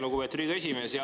Lugupeetud Riigikogu esimees!